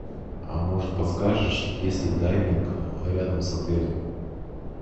а может подскажешь есть ли дайвинг рядом с отелем